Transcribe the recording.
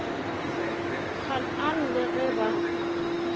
gaan aan le ge ba